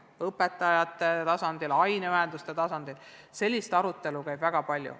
Õpetajate ja aineühenduste tasandil on sellist arutelu väga palju.